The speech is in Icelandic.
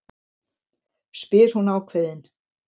spyr hún ákveðin.